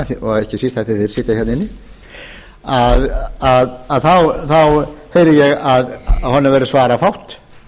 í þeim efnum og ekki síst af því að þeir sitja hérna inni þá heyri ég að honum verður svarafátt